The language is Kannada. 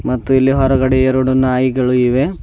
ಮತ್ತು ಇಲ್ಲಿ ಹೊರಗಡೆ ಎರಡು ನಾಯಿಗಳು ಇವೆ.